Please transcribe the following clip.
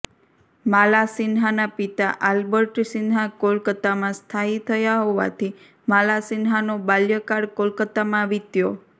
માલાસિન્હાના પિતા આલ્બર્ટ સિન્હા કોલકાતામાં સ્થાયી થયા હોવાથી માલાસિન્હાનો બાલ્ય કાળ કોલકાતામાં વિત્યો